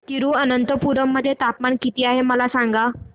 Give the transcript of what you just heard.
तिरूअनंतपुरम मध्ये तापमान किती आहे मला सांगा